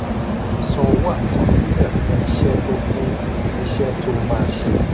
san owó àsansílẹ̀ fún iṣẹ tó fún iṣẹ tó máa ṣe.